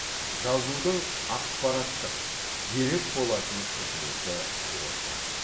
жазудың ақпараттық дерек болатын қызметі осы